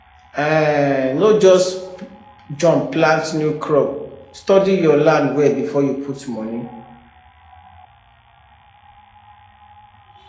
um no just jump plant new crop study your land well before you put money